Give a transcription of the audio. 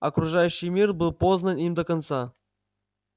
окружающий мир был познан им до конца